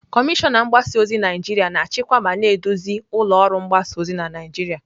Kọmishọna mgbasa ozi Naijiria na-achịkwa ma na-eduzi ụlọ ọrụ mgbasa ozi na Naijiria.